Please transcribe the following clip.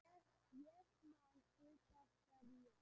Ég man sitt af hverju